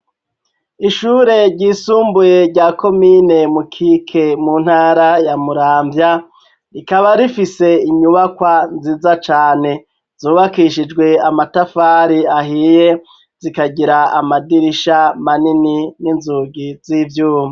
Ishure ryisumbuye rya komine mukike mu ntara ya Muramvya rikaba rifise inyubakwa nziza cane. Zubakishijwe amatafari ahiye zikagira amadirisha manini n'inzugi z'ivyuma.